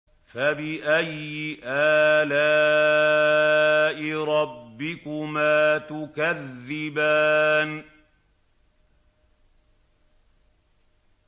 فَبِأَيِّ آلَاءِ رَبِّكُمَا تُكَذِّبَانِ